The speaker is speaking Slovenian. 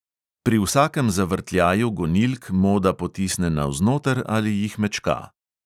Pri vsakem zavrtljaju gonilk moda potisne navznoter ali jih mečka.